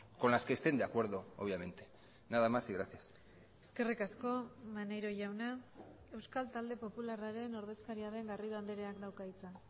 con las que estén de acuerdo obviamente nada más y gracias eskerrik asko maneiro jauna euskal talde popularraren ordezkaria den garrido andreak dauka hitza